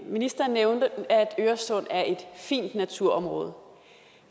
ministeren nævnte at øresund er et fint naturområde